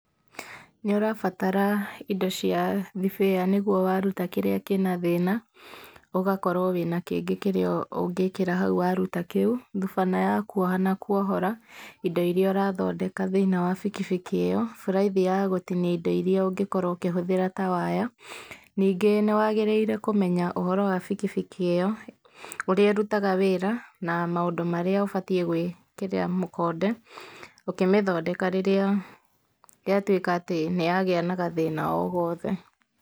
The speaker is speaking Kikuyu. Nĩ ũrabatara indo cia thibĩya nĩguo waruta kĩrĩa kĩna thĩna, ũgakorwo wĩna kĩngĩ kĩrĩa ũngĩkĩra hau waruta kĩu. Thubana ya kuoha na kuohora indo iria ũrathondeka thĩiniĩ wa bikibiki ĩyo, buraithi ya gũtinia indo iria ũngĩkorwo ũkĩhũthĩra ta waya. Nĩngĩ nĩ wagĩrĩire kũmenya ũhoro wa bikibiki ĩyo, ũrĩa ĩrutaga wĩra, na maũndũ marĩa ũbatiĩ gũĩkĩrĩra mũkonde ũkĩmĩthondeka rĩrĩa yatuĩka atĩ nĩ yagĩa na gathĩna o-gothe.